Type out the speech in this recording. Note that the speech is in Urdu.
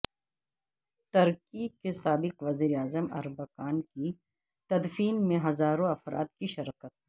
ترکی کے سابق وزیر اعظم اربکان کی تدفین میں ہزاروں افراد کی شرکت